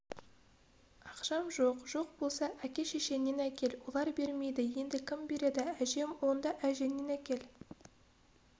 ақшам жоқ жоқ болса әке-шешеңнен әкел олар бермейді енді кім береді әжем онда әжеңнен әкел